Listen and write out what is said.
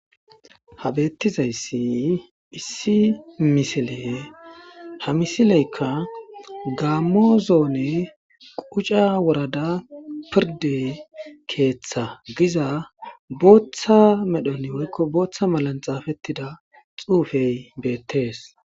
Ha betizzaysi issi missille ha misilleykka gamo zone kucca worrada firdde keetha yagizza botha qalamen xaffetidayssi bettees.